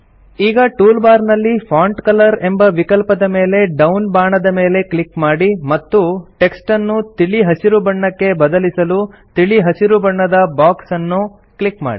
ಈಗ toolbar ನಲ್ಲಿ font colour ಎಂಬ ವಿಕಲ್ಪದ ಮೇಲೆ ಡೌನ್ ಬಾಣದ ಮೇಲೆ ಕ್ಲಿಕ್ ಮಾಡಿ ಮತ್ತು ಟೆಕ್ಸ್ಟನ್ನು ತಿಳಿ ಹಸಿರು ಬಣ್ಣಕ್ಕೆ ಬದಲಿಸಲು ತಿಳಿ ಹಸಿರು ಬಣ್ಣದ ಬಾಕ್ಸ್ ಅನ್ನು ಕ್ಲಿಕ್ ಮಾಡಿ